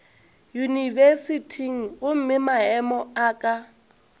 yunibesithing gomme maemo a ka